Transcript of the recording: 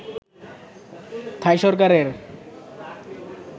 থাই সরকারের